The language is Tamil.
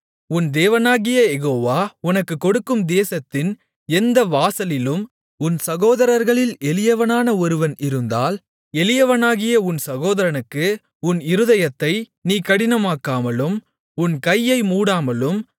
உன் தேவனாகிய யெகோவா உனக்குக் கொடுக்கும் தேசத்தின் எந்த வாசலிலும் உன் சகோதரர்களில் எளியவனான ஒருவன் இருந்தால் எளியவனாகிய உன் சகோதரனுக்கு உன் இருதயத்தை நீ கடினமாக்காமலும் உன் கையை மூடாமலும்